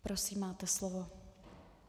Prosím máte slovo.